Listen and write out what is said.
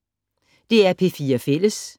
DR P4 Fælles